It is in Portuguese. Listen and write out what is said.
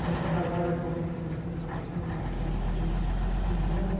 Nessa barbárie atualmente que nós estamos atravessando, não só no Brasil, como no mundo.